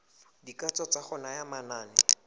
dikatso tsa go naya manane